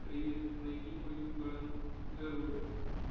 привет найди мою бандероль